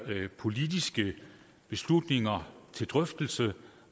politiske beslutninger til drøftelse